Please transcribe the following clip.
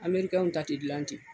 ta ti gilan ten.